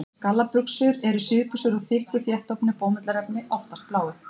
Gallabuxur eru síðbuxur úr þykku, þéttofnu bómullarefni, oftast bláu.